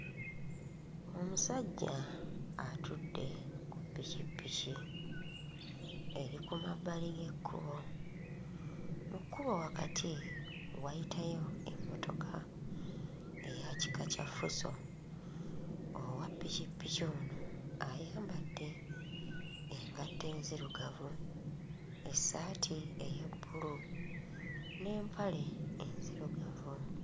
Omusajja atudde ku ppikippiki eri ku mabbali g'ekkubo. Mu kkubo wakati wayitayo emmotoka eya kika kya Fuso. Owa ppikippiki ono ayambadde engatto enzirugavu, essaati ey'ebbulu n'empale enzirugavu.